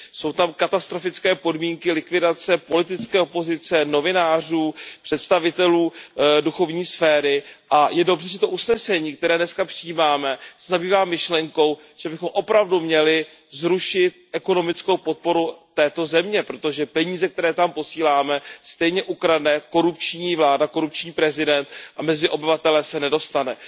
Jsou tam katastrofické podmínky likvidace politické opozice, novinářů, představitelů duchovní sféry a je dobře, že to usnesení, které dnes přijímáme, se zabývá myšlenkou, že bychom opravdu měli zrušit ekonomickou podporu této země, protože peníze, které tam posíláme, stejně ukradne korupční vláda, korupční prezident a mezi obyvatele se nedostanou.